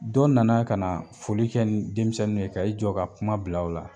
Dɔ nana kana foli kɛ ni denmisɛnniw ye ka i jɔ ka kuma bila u la.